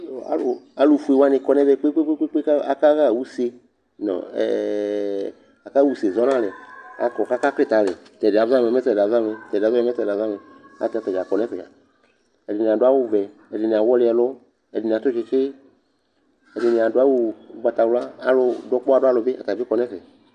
Yoo alʋfue wanɩ kɔ nʋ ɛvɛ kpe-kpe-kpe kʋ aka akaɣa use nʋ ɛ ɛ ɛ akaɣa use zɔ nʋ alɛ Akɔ kʋ akaklɩtɛ alɛ Tʋ ɛdɩ yɛ azɔ amɛ, mɛ tɛ azɔ amɛ, tʋ ɛdɩ yɛ azɔ amɛ, mɛ tɛ azɔ amɛ Ayɛlʋtɛ ata dza kɔ nʋ ɛfɛ dza Ɛdɩnɩ adʋ awʋvɛ, ɛdɩnɩ awɔlɩ ɛlʋ, ɛdɩnɩ atʋ tsɩtsɩ, ɛdɩnɩ adʋ awʋ ʋgbatawla Alʋ dʋ ɔkpɔwa dʋ alʋ bɩ, ata bɩ kɔ nʋ ɛfɛ